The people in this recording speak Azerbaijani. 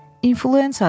İnfluenzadır.